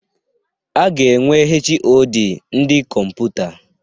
A ga-enwe HoD ndị Kọmputa.